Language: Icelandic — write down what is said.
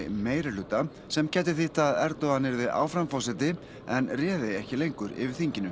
meirihluta sem gæti þýtt að Erdogan yrði áfram forseti en réði ekki lengur yfir þinginu